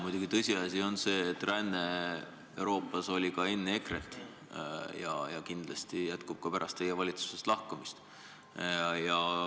Muidugi tõsiasi on see, et ränne Euroopas oli ka enne EKRE-t ja kindlasti jätkub ka pärast teie valitsusest lahkumist.